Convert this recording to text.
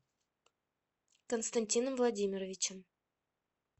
константином владимировичем